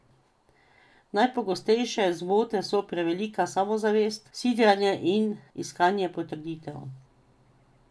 Najpogostejše zmote so prevelika samozavest, sidranje in iskanje potrditev.